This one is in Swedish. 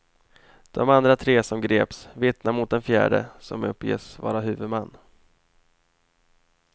De andra tre som greps vittnar mot den fjärde, som uppges vara huvudman.